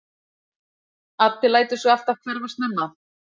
Addi lætur sig alltaf hverfa snemma.